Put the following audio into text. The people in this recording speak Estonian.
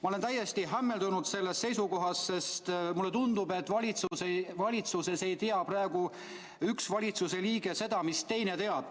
Ma olen täiesti hämmeldunud sellest seisukohast, sest mulle tundub, et valitsuses ei tea praegu üks liige seda, mis teine teab.